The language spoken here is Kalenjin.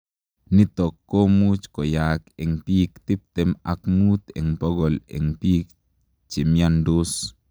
Nitok komuuch koyaak eng piik tiptem ak muut eng pokol eng piik chemiandos.